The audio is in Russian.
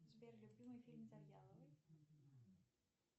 сбер любимый фильм завьяловой